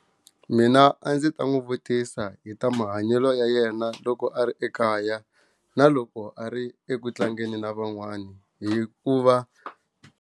Mina a ndzi ta n'wi vutisa hi ta mahanyelo ya yena loko a ri ekaya na loko a ri eku tlangeni na van'wana hi ku va.